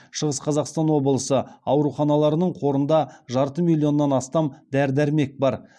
шығыс қазақстан облысы ауруханаларының қорында жарты миллионнан астам дәрі дәрмек бар